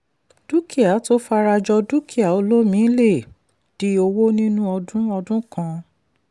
dúkìá tó fara jọ dúkìá olómi lè di owó nínú ọdún ọdún kan.